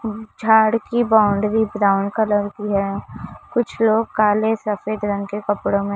झाड़ की boundary brown colour की है कुछ काले सफेद रंग के कपड़ों में--